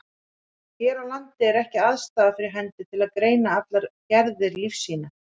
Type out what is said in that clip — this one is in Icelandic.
Hér á landi er ekki aðstaða fyrir hendi til að greina allar gerðir lífsýna.